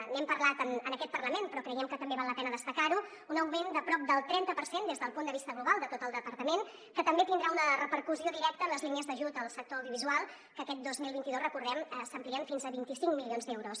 n’hem parlat en aquest parlament però creiem que també val la pena destacar·ho un augment de prop del trenta per cent des del punt de vista global de tot el departament que també tindrà una repercussió directa en les línies d’ajut al sector audiovisual que aquest dos mil vint dos recordem·ho s’amplien fins a vint cinc milions d’euros